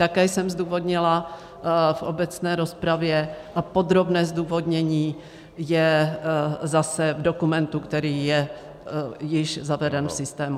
Také jsem zdůvodnila v obecné rozpravě a podrobné zdůvodnění je zase v dokumentu, který je již zaveden v systému.